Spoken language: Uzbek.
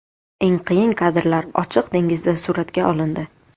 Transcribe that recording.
Eng qiyin kadrlar ochiq dengizda suratga olindi.